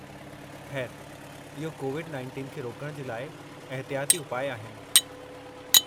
खै़रु, इहो कोविड-19 खे रोकण जे लाइ एहतियाती उपाउ आहिनि।